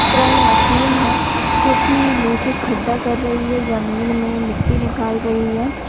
Crane machine जो कि नीचे खड्डा कर रही है जमीन मे मिट्टी निकाल रही है।